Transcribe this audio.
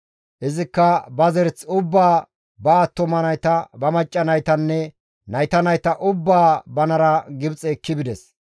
Izikka ba zereth ubbaa ba attuma nayta, ba macca naytanne nayta nayta ubbaa banara Gibxe ekki bides.